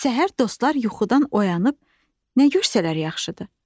Səhər dostlar yuxudan oyanıb nə görsələr yaxşıdır.